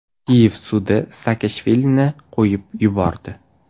Kiyev sudi Saakashvilini qo‘yib yubordi.